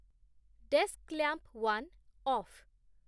desk lamp one of